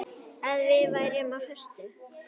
Að við værum á föstu.